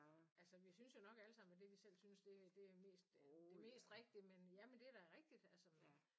Altså vi synes jo nok alle sammen at det vi selv synes det det det mest rigtige men ja men det da rigtigt